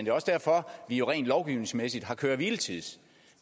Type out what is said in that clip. er også derfor at vi rent lovgivningsmæssigt har køre hvile tids